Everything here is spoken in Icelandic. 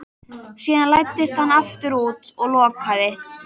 Síðan læddist hann aftur út og lokaði.